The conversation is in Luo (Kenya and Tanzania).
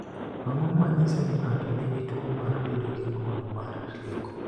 Ang’o ma nyiso ni ng’ato nigi tuwo mar bedo gi ng’ol mar rieko?